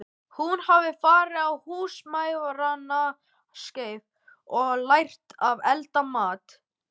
Hún hafði farið á Húsmæðranámskeið og lært að elda mat.